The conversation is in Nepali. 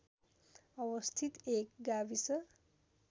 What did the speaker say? अवस्थित एक गाविस